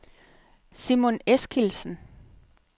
Simon Eskildsen